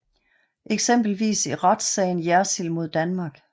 Eksempelvis i retssagen Jersild mod Danmark